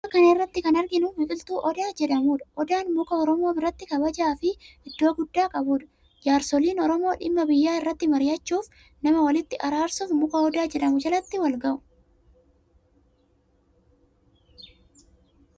Suuraa kana irratti kan arginu biqiltuu odaa jedhamudha. Odaan muka oromoo biratti kabajaa fi iddoo guddaa qabudha. Jaarsooliin oromoo dhimma biyyaa irratti mari'achuuf, nama walitti araarsuf muka odaa jedhamu jalatti walgahu.